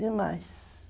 Demais.